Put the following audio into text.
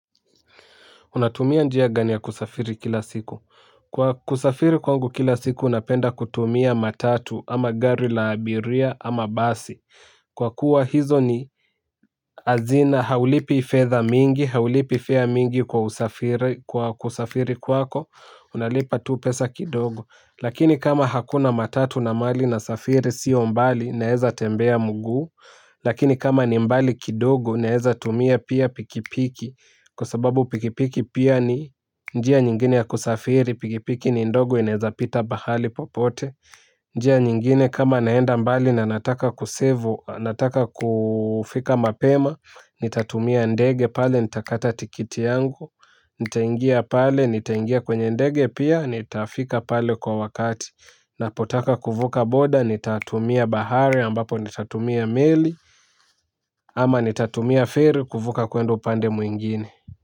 Unatumia njia gani ya kusafiri kila siku? Kwa kusafiri kwangu kila siku napenda kutumia matatu ama gari la abiria ama basi. Kwa kuwa hizo ni hazina haulipi fedha mingi, haulipi fea mingi kwa kusafiri kwako, unalipa tu pesa kidogo. Lakini kama hakuna matatu na mahali nasafiri sio mbali naeza tembea mguu. Lakini kama ni mbali kidogo naeza tumia pia pikipiki. Kwa sababu pikipiki pia ni njia nyingine ya kusafiri pikipiki ni ndogo inaeza pita pahali popote. Njia nyingine kama naenda mbali na nataka kusevu, nataka kufika mapema. Nitatumia ndege pale, nitakata tiketi yangu. Nitaingia pale, nitaingia kwenye ndege pia, nitafika pale kwa wakati. Napotaka kuvuka boda, nitatumia baharei ambapo nitatumia meli. Ama nitatumia feli, kuvuka kwenda upande mwingine.